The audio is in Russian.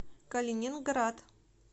калининград